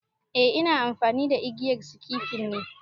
A ina amfani da igiyar sikifin ne